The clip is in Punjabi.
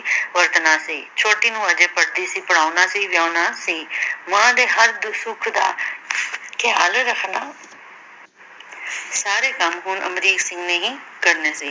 ਸੀ ਛੋਟੀ ਨੂੰ ਹਜੇ ਪੜ੍ਹਦੀ ਸੀ ਪੜ੍ਹਾਉਣਾ ਸੀ ਵਿਆਹੁਣਾ ਸੀ ਮਾਂ ਦੇ ਹਰ ਸੁਖ ਦਾ ਖਿਆਲ ਰੱਖਣਾ ਸਾਰੇ ਕੰਮ ਹੁਣ ਅਮਰੀਕ ਸਿੰਘ ਨੇ ਹੀ ਕਰਨੇ ਸੀ।